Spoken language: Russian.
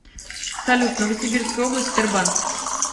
салют новосибирская область тербанк